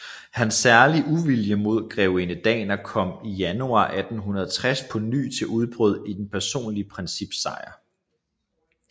Hans særlige uvilje imod Grevinde Danner kom i januar 1860 på ny til udbrud i Det personlige Princips Sejr